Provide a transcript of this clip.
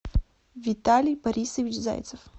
виталий борисович зайцев